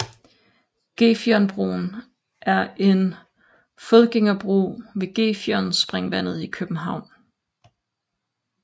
Gefionbroen er en fodgængerbro ved Gefionspringvandet i København